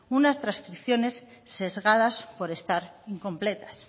unas trascripciones sesgadas por estar incompletas